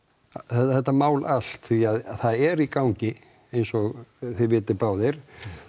þetta mál allt því að það er í gangi eins og þið vitið báðir